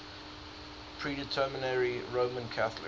predominantly roman catholic